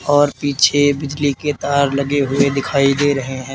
और पीछे बिजली के तार लगे हुए दिखाई दे रहे हैं।